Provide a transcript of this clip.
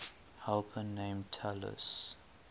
helper named talus